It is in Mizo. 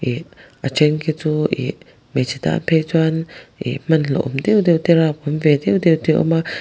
ih a then khi chu ih hmeichhe tan phei chuan ih hman hlauhawm deuh deuh te rapawm ve deuh deuh te a awm a.